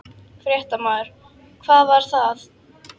Fréttamaður: Hvar var það?